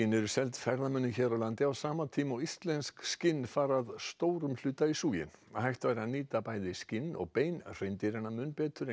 eru seld ferðamönnum hér á landi á sama tíma og íslensk skinn fara að stórum hluta í súginn hægt væri að nýta bæði skinn og bein hreindýranna mun betur en